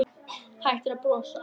Hættir að brosa.